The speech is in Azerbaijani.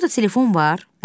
Burda telefon var?